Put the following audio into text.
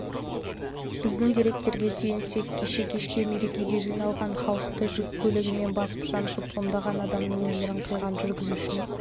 біздің деректерге сүйенсек кеше кешке мерекеге жиналған халықты жүк көлігімен басып-жаншып ондаған адамның өмірін қиған жүргізушінің